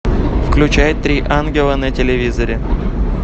включай три ангела на телевизоре